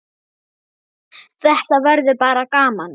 Þetta verður bara gaman.